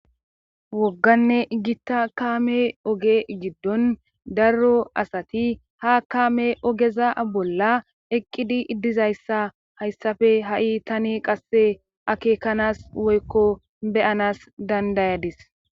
wogganne gitta kaame oge giddon darro asati ha kaame ogeza bolla eqqidi iddizayssa hayssafe ha7i tani qasse akeekanas woykko beyanas dandayadis